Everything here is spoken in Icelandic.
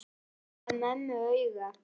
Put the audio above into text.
Gaf mömmu auga.